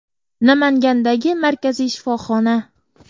Namangandagi markaziy shifoxona.